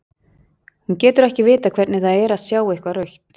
Hún getur ekki vitað hvernig það er að sjá eitthvað rautt.